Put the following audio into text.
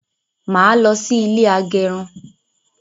Máa lọ sí ilé agẹrun